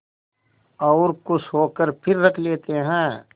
और खुश होकर फिर रख लेते हैं